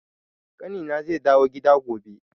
Ƙanina zai dawo gida gobe.